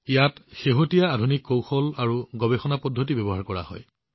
ইয়াত শেহতীয়া আধুনিক কৌশল আৰু গৱেষণা পদ্ধতি ব্যৱহাৰ কৰা হয়